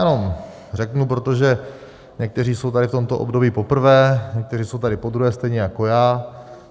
Ano, řeknu, protože někteří jsou tady v tomto období poprvé, někteří jsou tady podruhé stejně jako já.